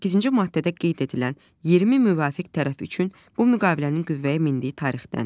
18-ci maddədə qeyd edilən 20 müvafiq tərəf üçün bu müqavilənin qüvvəyə mindiyi tarixdən.